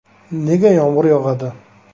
Nega yomg‘ir yog‘adi?